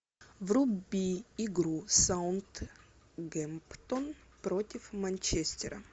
вруби игру саутгемптон против манчестера